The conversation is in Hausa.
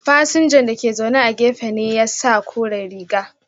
Fasinja da ke zaune a gefe na ya sa kore riga.